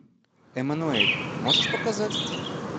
эммануэль можешь показать